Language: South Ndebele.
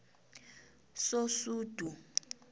sosudu